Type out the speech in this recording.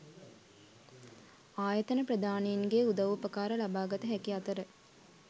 ආයතන ප්‍රධානීන්ගේ උදව් උපකාර ලබාගත හැකි අතර